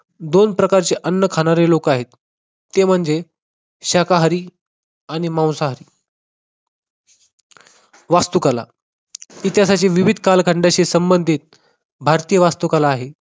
दोन प्रकारचे अन्न खाणारे लोक आहेत, ते म्हणजे शाकाहारी आणि मांसाहारी. वास्तुकला इतिहासाच्या विविध कालखंडाशी संबंधित भारतीय वास्तुकला आहे.